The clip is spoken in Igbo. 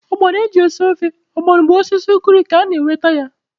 Ọgbọnọ eji esi ofe ọgbọnọ bụ n'osisi ugiri ka a na-enweta ya.